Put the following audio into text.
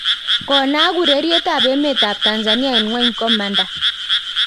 Konaak ureriet ab emet ab Tanzania en ngwony komanda